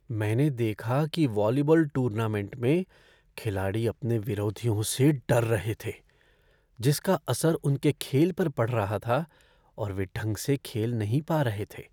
मैंने देखा कि वॉलीबॉल टूर्नामेंट में खिलाड़ी अपने विरोधियों से डर रहे थे जिसका असर उनके खेल पर पड़ रहा था और वे ढंग से खेल नहीं पा रहे थे।